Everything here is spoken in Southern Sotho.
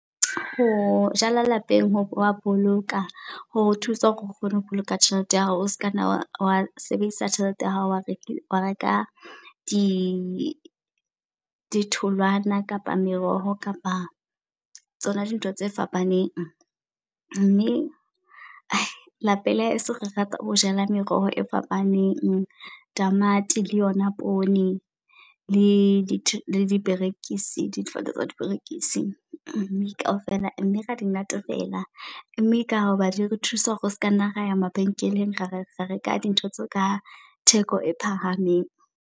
Ho jala lapeng ho boloka ho thusa hore o kgone ho boloka tjhelete ya hao o se ka nna wa sebedisa tjhelete ya hao. Wa reka ditholwana kapa meroho kapa tsona dintho tse fapaneng. Mme lapeng la heso re rata ho jala meroho e fapaneng. Tamati le yona poone, le diperekise difate tsa diperekisi mme kaofela mme ra di natefela. Mme ka ho ba di a re thusa hore o se ka nna ra ya mabenkeleng, re reka dintho tseo ka theko e phahameng.